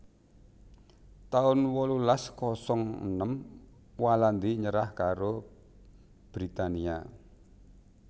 taun wolulas kosong enem Walandi nyerah karo Britania